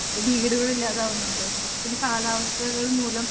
വീടുകളില്ലാതാവുന്നുണ്ട്. പിന്നെ കാലാവസ്ഥകൾ മൂലം